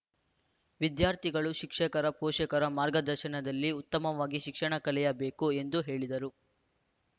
ವಿದ್ಯಾರ್ಥಿಗಳು ಶಿಕ್ಷಕರ ಪೋಷಕರ ಮಾರ್ಗದರ್ಶನದಲ್ಲಿ ಉತ್ತಮವಾಗಿ ಶಿಕ್ಷಣ ಕಲಿಯಬೇಕು ಎಂದು ಹೇಳಿದರು